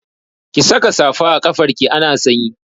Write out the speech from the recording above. Ki saka safa a kafarki ana sanyi!